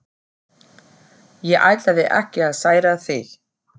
Ég ætlaði ekki að særa þig.